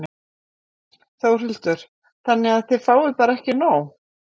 Þórhildur: Þannig að þið bara fáið ekki nóg?